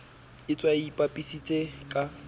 a tshwaye a ipapisitse ka